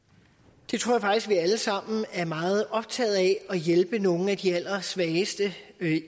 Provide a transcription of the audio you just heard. det tror jeg faktisk vi alle sammen er meget optaget af at hjælpe nogle af de allersvageste